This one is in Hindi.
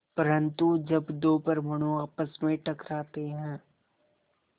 परन्तु जब दो परमाणु आपस में टकराते हैं